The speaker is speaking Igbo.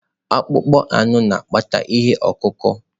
Akpụkpọ anụ na-akpata ihe ọkụ ọkụ.